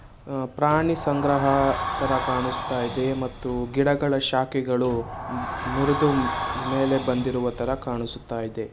ಅ ಪ್ರಾಣಿ ಸಂಗ್ರಹ ತರ ಕಾಣುಸ್ತಾಯಿದೆ ಮತ್ತು ಗಿಡಗಳ ಶಾಖೆಗಳು ಮುರಿದು ಮೇಲೆ ಬಂದಿರುವ ತರ ಕಾಣಿಸುತಾ ಇದೆ.